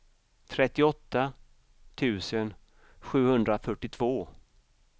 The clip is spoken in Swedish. trettioåtta tusen sjuhundrafyrtiotvå